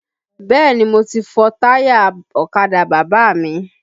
Bẹ́ẹ̀ni mo ti fọ táyà ọ̀kadà bàbá mi